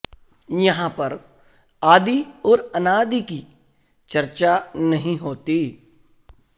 यहां पर आदि और अनादि की चर्चा नहीं होती